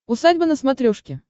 усадьба на смотрешке